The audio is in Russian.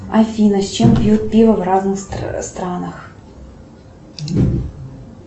афина с чем пьют пиво в разных странах